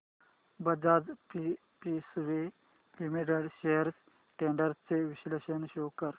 Bajaj Finserv limited shares trends चे विश्लेषण show कर